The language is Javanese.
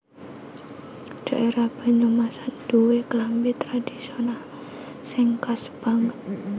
Dhaérah Banyumasan nduwé klambi tradhisional sing khas banget